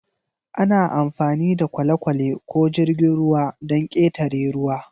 Ana amfani da kwale-kwale ko jirgin ruwa don ƙetare ruwa.